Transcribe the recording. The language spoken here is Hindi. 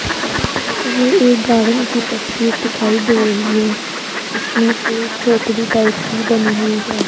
ये एक गार्डन की तस्वीर दिखाई दे रही है इसमें एक झोपड़ी टाइप की बनी हुई है।